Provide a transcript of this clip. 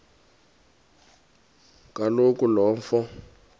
kaloku lo mfo